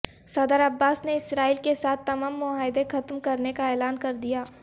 صدر عباس نے اسرائیل کے ساتھ تمام معاہدے ختم کرنے کا اعلان کردیا